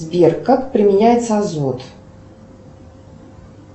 сбер как применяется азот